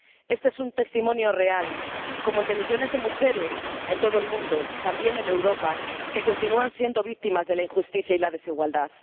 Este es un testimonio real, como el de millones de mujeres en todo el mundo, también en Europa, que continúan siendo víctimas de la injusticia y la desigualdad.